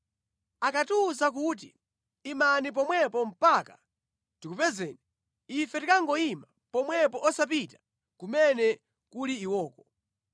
Akatiwuza kuti, ‘Imani pomwepo mpaka tikupezeni,’ ife tikangoyima pomwepo osapita kumene kuli iwoko.